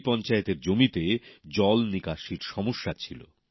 এই পঞ্চায়েতের জমিতে জল নিকাশির সমস্যা ছিল